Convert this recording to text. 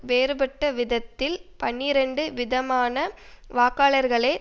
வேறுபட்ட விதத்தில் பனிரண்டு விதமான வாக்காளர்களே